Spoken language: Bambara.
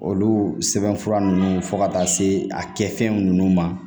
Olu sɛbɛnfura nunnu fo ka taa se a kɛfɛn nunnu ma